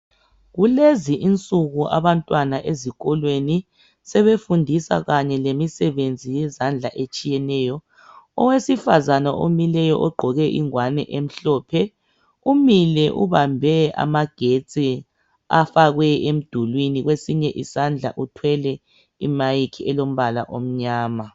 Kulezi insuku abantwana ezikolweni sebefundiswa kanye lemisebenzi yezandla etshiyeneyo. Owesifazane omileyo ogqoke ingwane emhlophe, umile ubambe amagetsi afakwe emdulwini. Kwesinye isandla uthwele i"mic" elombala omnyama.